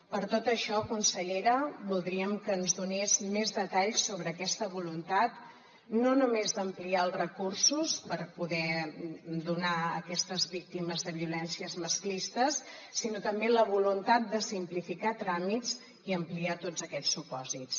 per tot això consellera voldríem que ens donés més detalls sobre aquesta voluntat no només d’ampliar els recursos per poder donar a aquestes víctimes de violències masclistes sinó també la voluntat de simplificar tràmits i ampliar tots aquests supòsits